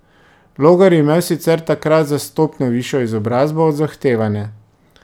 Logar je imel sicer takrat za stopnjo višjo izobrazbo od zahtevane.